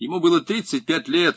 ему было тридцать пять лет